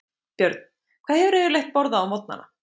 Björn: Hvað hefurðu yfirleitt borðað á morgnanna?